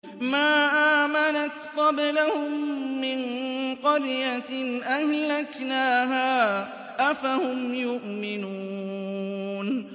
مَا آمَنَتْ قَبْلَهُم مِّن قَرْيَةٍ أَهْلَكْنَاهَا ۖ أَفَهُمْ يُؤْمِنُونَ